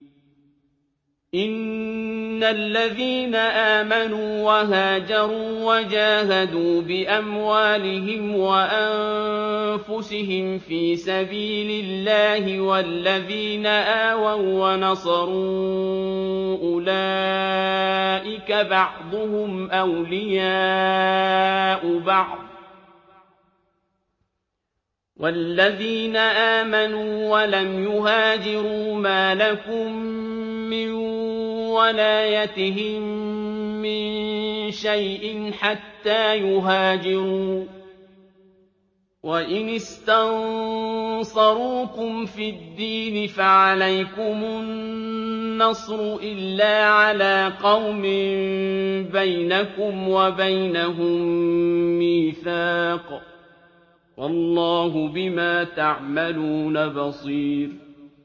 إِنَّ الَّذِينَ آمَنُوا وَهَاجَرُوا وَجَاهَدُوا بِأَمْوَالِهِمْ وَأَنفُسِهِمْ فِي سَبِيلِ اللَّهِ وَالَّذِينَ آوَوا وَّنَصَرُوا أُولَٰئِكَ بَعْضُهُمْ أَوْلِيَاءُ بَعْضٍ ۚ وَالَّذِينَ آمَنُوا وَلَمْ يُهَاجِرُوا مَا لَكُم مِّن وَلَايَتِهِم مِّن شَيْءٍ حَتَّىٰ يُهَاجِرُوا ۚ وَإِنِ اسْتَنصَرُوكُمْ فِي الدِّينِ فَعَلَيْكُمُ النَّصْرُ إِلَّا عَلَىٰ قَوْمٍ بَيْنَكُمْ وَبَيْنَهُم مِّيثَاقٌ ۗ وَاللَّهُ بِمَا تَعْمَلُونَ بَصِيرٌ